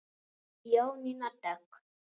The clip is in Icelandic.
Jónína Dögg.